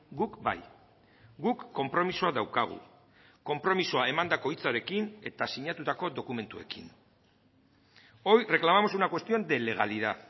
guk bai guk konpromisoa daukagu konpromisoa emandako hitzarekin eta sinatutako dokumentuekin hoy reclamamos una cuestión de legalidad